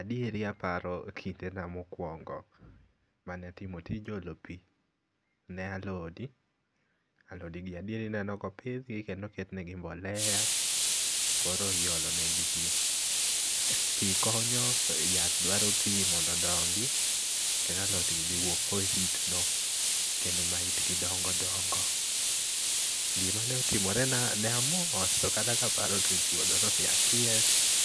Adieri aparo kindena mokuongo mane atimo tij olo pi ne alode, alode gi adier ineno ka opidh kendo oketnigi mbolea, koro iolo negi pi. Pi konyo to yath dwaro pi mondo odongi kendo alotgi dhi wuok kohitgo kendo ma itgi dongo dongo. Gima ne otimorena ne amor to kata kaparo to chuodho, be akier